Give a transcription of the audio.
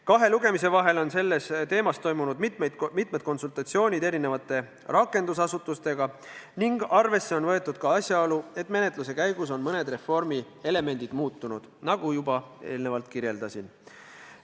Kahe lugemise vahel on sel teemal toimunud mitmed konsultatsioonid erinevate rakendusasutustega ning arvesse on võetud ka asjaolu, et menetluse käigus on mõned reformi elemendid muutunud, nagu ma juba märkisin.